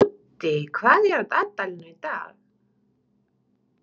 Úddi, hvað er á dagatalinu í dag?